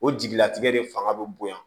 O jigilatigɛ de fanga bɛ bonya